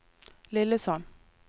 Lillesand